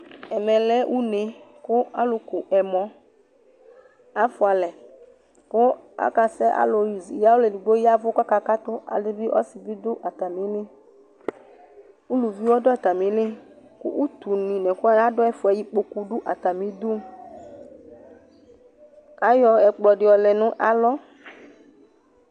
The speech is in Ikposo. ɛmɛ lɛ une ku alu ku ɛmɔ afʋalɛ ku aka sɛ , alu yavu kaka katu, alu bi , ɔsi di bi du ata mi li , uluvi ɔdu ata mi li ku utu nu ɛkuwʋani adu ayɛ fʋɛ ikpoku du ata mi du , kayɔ ɛkplɔ di yɔlɛ nalɔ